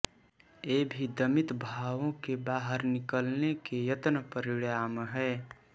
ये भी दमित भावों के बाहर निकलने के यत्न परिणाम हैं